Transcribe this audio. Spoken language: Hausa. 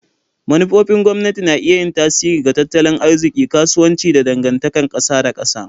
Manufofin gwamnati na iya yin tasiri ga tattalin arziki, kasuwanci, da dangantakar kasa da kasa.